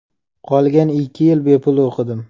Qolgan ikki yil bepul o‘qidim.